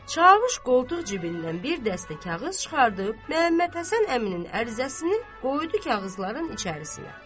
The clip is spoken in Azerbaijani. Çavuş qoltuq cibindən bir dəstə kağız çıxardıb, Məhəmməd Həsən əminin ərizəsini qoydu kağızların içərisinə.